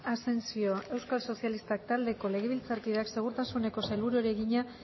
asensio euskal sozialistak taldeko legebiltzarkideak segurtasuneko sailburuari egina